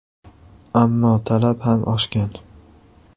Ammo talab ham oshgan.